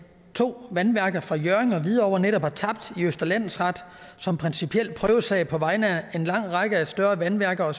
to vandværker fra hjørring og hvidovre netop har tabt i østre landsret som principiel prøvesag på vegne af en lang række af større vandværker og